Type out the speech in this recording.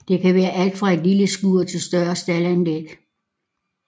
Det kan være alt fra et lille skur til større staldanlæg